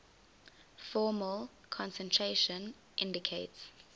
formal concentration indicates